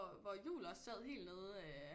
Hvor Juhl også sad helt nede øh